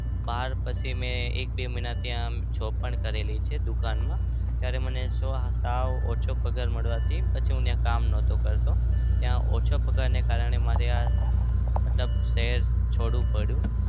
બાર પછી મેં એક બે મહિના ત્યાં job પણ કરેલી છે દુકાનમાં. ત્યારે મને સાવ ઓછો પગાર મળવાથી પછી હું ત્યાં કામ નતો કરતો. ત્યાં ઓછા પગારને કારણે આ મતલબ શહેર છોડવું પડ્યું.